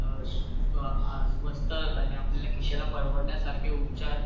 सवस्त आणि आपल्या खिशाला परवडण्यासारखे अशे उपचार